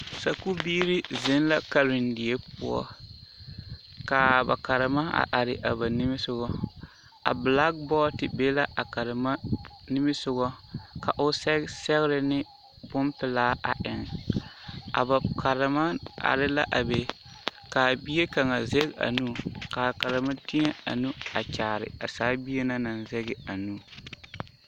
Sakubiiri zeŋ la karendie poɔ k,a ba karema are a ba nimisogɔ a bilakibɔɔde be la a karema nimisogɔ ka o sɛge sɛgre ne bompelaa a eŋ a ba karema are la a be k,a bie kaŋa zɛge a nu ka karema teɛ a nu a kyaare a saa bie na naŋ zɛge a nu.